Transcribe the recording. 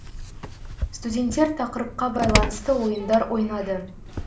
студенттер тақырыпқа байланысты ойындар ойнады